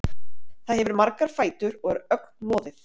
Það hefur margar fætur og er ögn loðið.